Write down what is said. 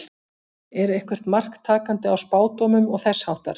Er eitthvert mark takandi á spádómum og þess háttar?